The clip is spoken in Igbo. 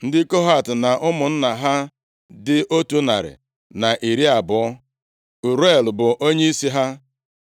Ndị Kohat na ụmụnna ha dị otu narị na iri abụọ. (120) Uriel bụ onyeisi ha.